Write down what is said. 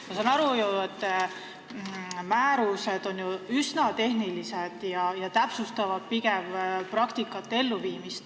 Ma saan aru, et määrused on ju üsna tehnilised ja täpsustavad pigem praktikat.